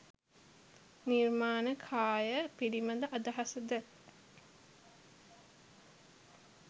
නිර්මාණ කාය පිළිබඳ අදහස ද